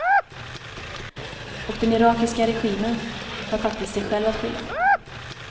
Och den irakiska regimen har faktiskt sig själv att skylla.